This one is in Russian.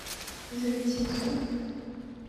завитинску